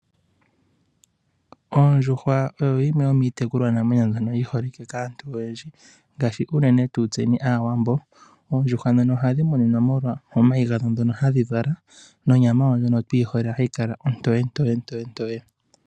Oondjuhwa oyo yimwe yomiitekulwa namwenyo mbyono yi holike kaantu oyendji ngaashi unene tuu tseni Aawambo. Oondjuhwa ndhono ohadhi muninwa molwa omayi gadho ndhono hadhi vala nonyama yawo ndjono tu yi hole hayi kala ontoyentoye-ntoye.